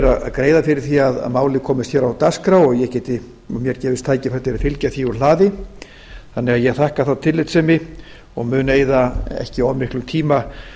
að greiða fyrir því að málið komist hér á dagskrá og mér gefist tækifæri til að fylgja því úr hlaði þannig að ég þakka þá tillitssemi og mun eyða ekki of miklum tíma